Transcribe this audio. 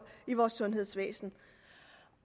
i vores sundhedsvæsen